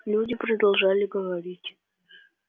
люди продолжали говорить